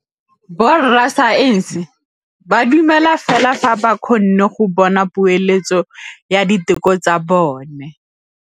Borra saense ba dumela fela fa ba kgonne go bona poeletsô ya diteko tsa bone.